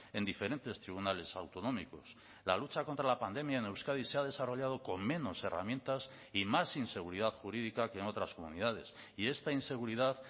en diferentes tribunales autonómicos la lucha contra la pandemia en euskadi se ha desarrollado con menos herramientas y más inseguridad jurídica que en otras comunidades y esta inseguridad